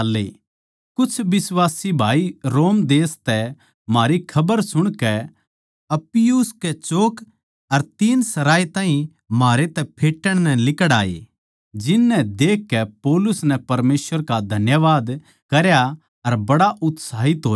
कुछ बिश्वासी भाई रोम देश तै म्हारी खबर सुणकै अप्पियुस कै चौक अर तीनसराए ताहीं म्हारै तै फेटण नै लिकड़ आये जिन नै देखकै पौलुस नै परमेसवर का धन्यवाद करया अर बड़ा उत्साहित होया